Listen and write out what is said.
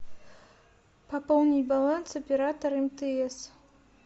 пополнить баланс оператор мтс